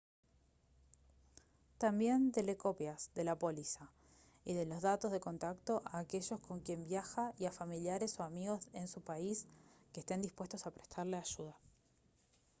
también dele copias de la póliza y de los datos de contacto a aquellos con quien viaja y a familiares o amigos en su país que estén dispuestos a prestarle ayuda